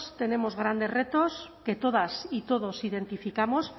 tenemos grandes retos que todas y todos identificamos